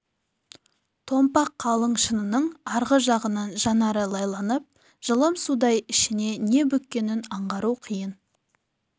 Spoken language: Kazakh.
томпақ қалың шынының арғы жағынан жанары лайланып жылым судай ішіне не бүккенін аңғару қиын